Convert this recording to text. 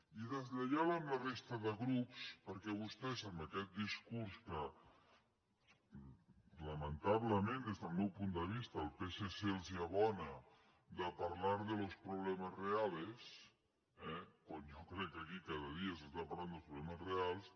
i deslleial amb la resta de grups perquè vostès amb aquest discurs que lamentablement des del meu punt de vista el psc els abona de parlar de los problemas reales eh quan jo crec que aquí cada dia es parla dels problemes reals